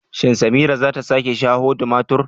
Shin Samira zata sake shaho tumatur?